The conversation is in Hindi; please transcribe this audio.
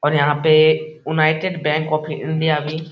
और यहाँ पे यूनाइटेड बैंक ऑफ़ इंडिया भी --